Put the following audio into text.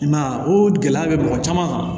I m'a ye o gɛlɛya bɛ mɔgɔ caman kan